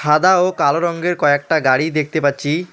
সাদা ও কালো রঙ্গের কয়েকটা গাড়ি দেখতে পাচ্ছি।